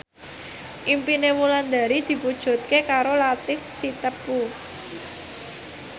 impine Wulandari diwujudke karo Latief Sitepu